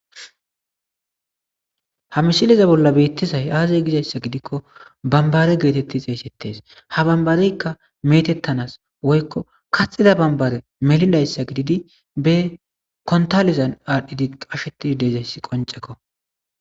ha mishileza bolla beittisay aazay gizayssa gidikko bambare geetetti xeesettes ha bambareykka metettanas woykko kaxida bambare melidayssa gididi be kontalizan aardhdhidi qasheti deezayss qoncekko